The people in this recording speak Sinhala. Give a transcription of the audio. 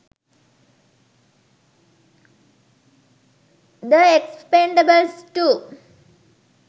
the expendables 2